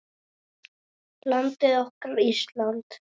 Landið okkar, Ísland.